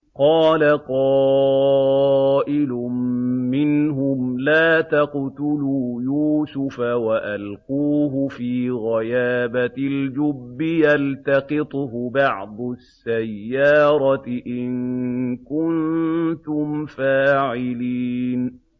قَالَ قَائِلٌ مِّنْهُمْ لَا تَقْتُلُوا يُوسُفَ وَأَلْقُوهُ فِي غَيَابَتِ الْجُبِّ يَلْتَقِطْهُ بَعْضُ السَّيَّارَةِ إِن كُنتُمْ فَاعِلِينَ